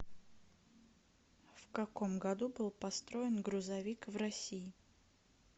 в каком году был построен грузовик в россии